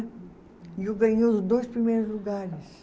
E eu ganhei os dois primeiros lugares.